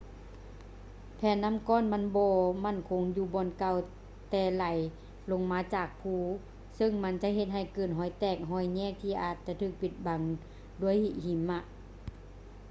ແຜ່ນນໍ້າກ້ອນມັນບໍ່ໝັ້ນຄົງຢູ່ບ່ອນເກົ່າ ແຕ່ໄຫຼລົງມາຈາກພູ ເຊິ່ງມັນຈະເຮັດໃຫ້ເກີດຮອຍແຕກ ຮອຍແຍກທີ່ອາດຈະຖືກປິດບັງດ້ວຍແຜ່ນຫິມະ